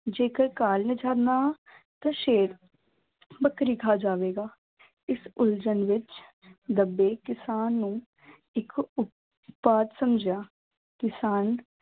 ਜੇਕਰ ਘਾਹ ਲਿਜਾਂਦਾ ਹਾਂ ਤਾਂ ਸ਼ੇਰ ਬੱਕਰੀ ਖਾ ਜਾਵੇਗਾ, ਇਸ ਉਲਝਣ ਵਿੱਚ ਦੱਬੇ ਕਿਸਾਨ ਨੂੰ ਇੱਕ ਉਪਾਅ ਸਮਝਿਆ, ਕਿਸਾਨ